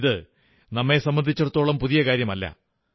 ഇത് നമ്മെ സംബന്ധിച്ചിടത്തോളം പുതിയ കാര്യമല്ല